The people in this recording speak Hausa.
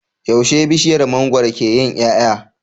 Yaushe bishiyar mangwaro ke yin yaya